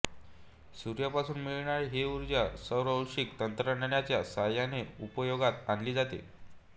सूर्यापासून मिळणारी ही ऊर्जा सौरऔष्णिक तंत्रज्ञानाच्या साहाय्याने उपयोगात आणली जाते